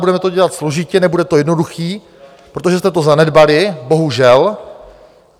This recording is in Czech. Budeme to dělat složitě, nebude to jednoduché, protože jste to zanedbali, bohužel.